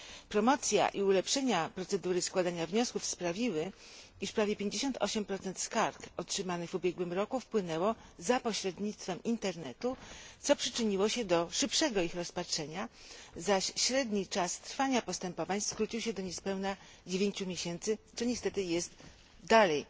Promocja i ulepszenia procedury składania wniosków sprawiły, iż prawie 58 skarg otrzymanych w ubiegłym roku wpłynęło za pośrednictwem internetu, co przyczyniło się do szybszego ich rozpatrzenia, zaś średni czas trwania postępowań skrócił się do niespełna 9 miesięcy, co niestety jest dalej